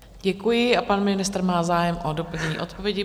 Děkuji a pan ministr má zájem o doplnění odpovědi.